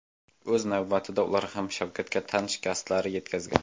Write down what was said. O‘z navbatida ular ham Shavkatga tan shikastlari yetkazgan.